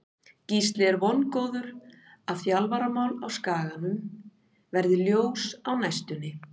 Gísli er vongóður að þjálfaramál á Skaganum verði ljós á næstunni.